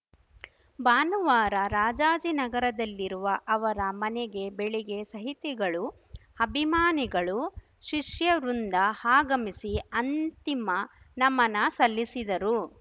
ಭಾನುವಾರ ರಾಜಾಜಿನಗರದಲ್ಲಿರುವ ಅವರ ಮನೆಗೆ ಬೆಳಿಗ್ಗೆ ಸಹಿತಿಗಳು ಅಭಿಮಾನಿಗಳು ಶಿಷ್ಯವೃಂದ ಆಗಮಿಸಿ ಅಂತಿಮ ನಮನ ಸಲ್ಲಿಸಿದರು